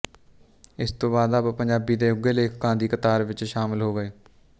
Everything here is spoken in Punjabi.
ਇਸ ਤੋਂ ਬਾਅਦ ਆਪ ਪੰਜਾਬੀ ਦੇ ਉੱਘੇ ਲੇਖਕਾਂ ਦੀ ਕਤਾਰ ਵਿੱਚ ਸ਼ਾਮਲ ਹੋ ਗਏ